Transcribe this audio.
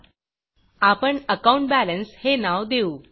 आपण अकाउंट balanceअकाउंट बॅलेन्स हे नाव देऊ